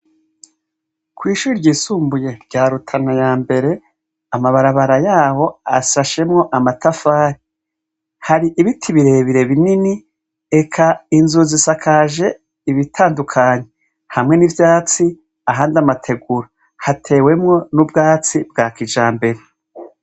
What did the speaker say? Kw'ishure ry'isumbuye rya Rutana ya mbere amabarabara yaho asashemwo amatafari, hari ibiti birebire binini ,eka inzu zisakaje ibitandukanye, hamwe n'ivvyatsi , ahandi amategura, hatewemwo n'ubwatsi bwa kijambere.